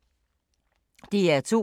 DR2